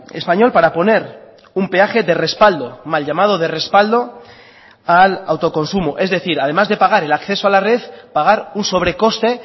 español para poner un peaje de respaldo mal llamado de respaldo al autoconsumo es decir además de pagar el acceso a la red pagar un sobrecoste